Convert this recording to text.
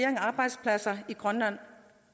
af arbejdspladser i grønland